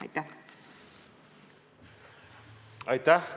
Aitäh!